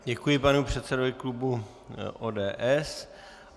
Děkuji panu předsedovi klubu ODS.